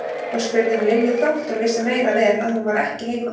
Og spurði um Lilju þótt hún vissi meira en vel að hún var ekki heima.